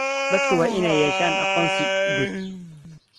Dadku waa inay yeeshaan aqoonsi guud.